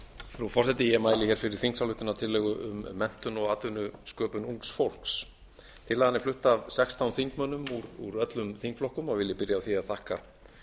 frú forseti ég mæli fyrir þingsályktunartillögu um menntun og atvinnusköpun ungs fólks tillagan er flutt af sextán þingmönnum úr öllum þingflokkum og vil ég byrja á því að þakka